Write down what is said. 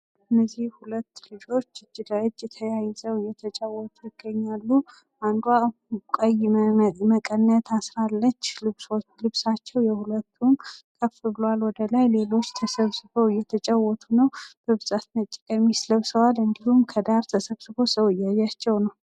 እነዚህ ሁለት ልጆች እጅ ለእጅ ተያይዘው እየተጫዎቱ ሲሆን፤ አንዷ ቀይ መቀነት አድርጋለች የሁለታቸውም ቀሚስ ከፍ ብሏል ወደላይ። ሌሎች ተሰብስበው እየተጫወቱ ነው። በብዛት ነጭ ቀሚስ ለብሰዋል። እንዲሁም ከዳር ተሰብስቦ ሰው እያያቸው ነው።